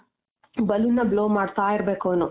balloon ನ blow ಮಾಡ್ತಾ ಇರ್ಬೇಕವ್ನು.